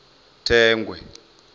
thengwe